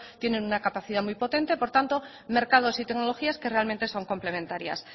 tienen una capacidad muy potente por lo tanto mercados y tecnologías que realmente son complementarias